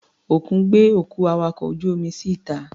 Òkun gbé òkú awakọ̀ ojú-omi sí ìta.